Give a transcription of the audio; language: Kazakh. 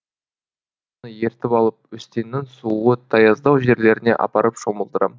ертіп алып өстеннің суы таяздау жерлеріне апарып шомылдырам